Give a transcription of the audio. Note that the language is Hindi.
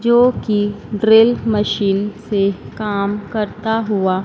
जो कि ड्रिल मशीन से काम करता हुआ।